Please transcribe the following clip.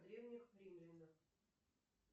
древних римлянах